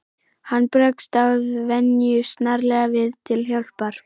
Hann bregst að venju snarlega við til hjálpar.